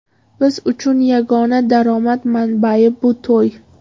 Biz uchun yagona daromad manbai bu to‘y.